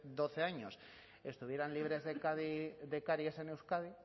doce años estuvieran libres de caries en euskadi